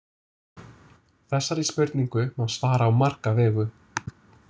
Þessari spurningu má svara á marga vegu.